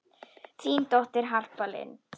Þín dóttir, Harpa Lind.